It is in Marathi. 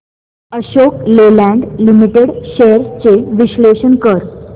अशोक लेलँड लिमिटेड शेअर्स चे विश्लेषण कर